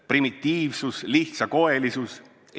Primitiivsus, lihtsakoelisus.